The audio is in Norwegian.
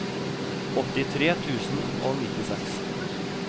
åttitre tusen og nittiseks